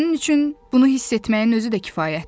Sənin üçün bunu hiss etməyin özü də kifayətdir.